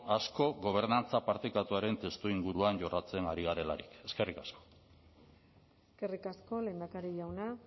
askok gobernantza partekatuaren testuinguruan jorratzen ari garelarik eskerrik asko eskerrik asko lehendakari jauna